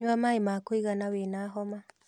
Nyua maĩĩ ma kũigana wĩna homa